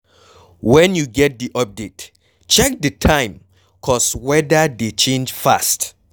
When you get di update, check di time cause weda dey change fast